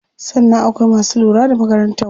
Sannan akwai masu lura da makarantar.